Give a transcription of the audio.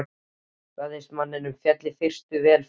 Ræðismanninum féll í fyrstu vel við þessa menn.